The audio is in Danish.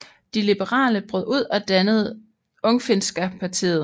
De liberale brød ud og dannede Ungfinska partiet